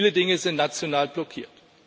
Viele Dinge sind national blockiert.